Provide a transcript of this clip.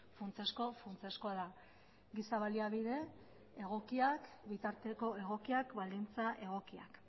funtsezko funtsezkoa da giza baliabide egokiak bitarteko egokiak baldintza egokiak